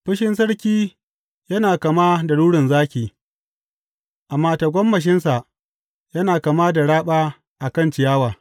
Fushin sarki yana kama da rurin zaki, amma tagomashinsa yana kama da raba a kan ciyawa.